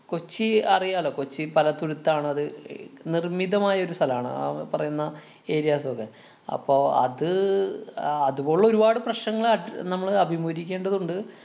കൊച്ചി അറിയാലോ. കൊച്ചി പലതുരുത്താണ്. അത് ഏർ ക്~ നിര്‍മ്മിതമായ ഒരു സ്ഥലാണ്. ആ പറയുന്ന areas ഒക്കെ. അപ്പൊ അത് ആഹ് അതുപോലുള്ള ഒരു പാട് പ്രശ്നങ്ങള് അഡ്~ നമ്മള് അഭിമുഖീകരിക്കേണ്ടതുണ്ട്.